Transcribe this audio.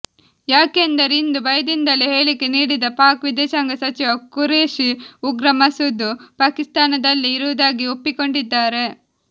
ಯಾಕೆಂದರೆ ಇಂದು ಭಯದಿಂದಲೇ ಹೇಳಿಕೆ ನೀಡಿದ ಪಾಕ್ ವಿದೇಶಾಂಗ ಸಚಿವ ಕುರೇಶಿ ಉಗ್ರ ಮಸೂದ್ ಪಾಕಿಸ್ತಾನದಲ್ಲೇ ಇರುವುದಾಗಿ ಒಪ್ಪಿಕೊಂಡಿದ್ದಾರೆ